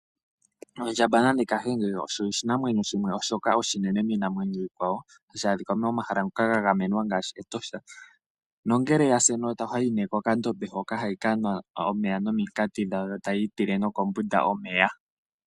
Ondjamba nenge Kahenge osho oshinamwenyo shimwe shoka oshinene minamwenyo iikwawo, hashi adhika momahala ngoka ga gamenwa ngaashi Etosha. Nongele oya si enota, ohayiyi nee kokandombe hoka hayi kanwa omeya nomunkati yo tayi tile nokombunda omeya.